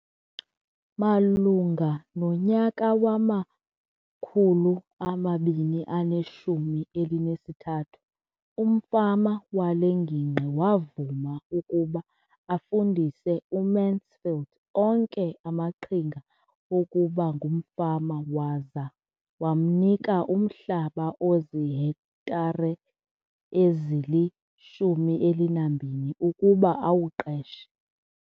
Malunga nonyaka wama-2013, umfama wale ngingqi wavuma ukuba afundise uMansfield onke amaqhinga okuba ngumfama waza wamnika umhlaba ozihektare ezili-12 ukuba awuqeshe.